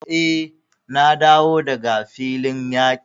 Eh, na dawo daga filin yaqi.